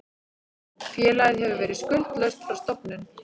Félagið hefur verið skuldlaust frá stofnun